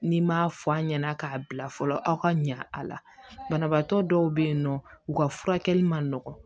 N'i m'a fɔ an ɲɛna k'a bila fɔlɔ aw ka ɲa a la banabagatɔ dɔw bɛ yen nɔ u ka furakɛli man nɔgɔ